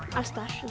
alls staðar